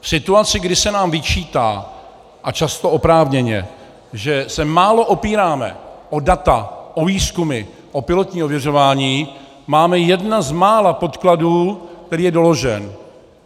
V situaci, kdy se nám vyčítá, a často oprávněně, že se málo opíráme o data, o výzkumy, o pilotní ověřování, máme jedny z mála podkladů, který je doložen.